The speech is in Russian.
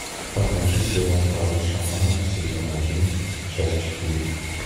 покажи сериал король шаманов сезон один часть четыре